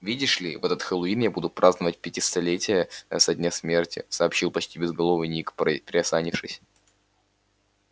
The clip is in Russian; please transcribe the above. видишь ли в этот хэллоуин я буду праздновать пятисотлетие со дня смерти сообщил почти безголовый ник приосанившись